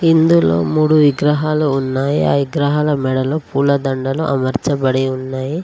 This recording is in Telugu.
ఇందులో మూడు విగ్రహాలు ఉన్నాయ్ ఆ ఇగ్రహాల మెడలో పూల దండలు అమర్చబడి ఉన్నయి.